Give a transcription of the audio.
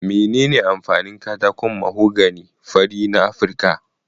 Menene amfanin katakon mahogany fari na Afirka?